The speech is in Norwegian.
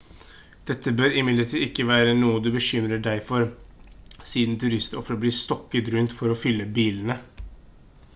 dette bør imidlertid ikke være noe du bekymrer deg for siden turister ofte blir stokket rundt for å fylle bilene